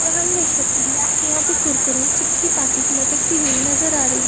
और हम देख सकते है की यहाँ पे कुरकुरे चिप्स की पैकेट लटकती हुई नजर आ रही --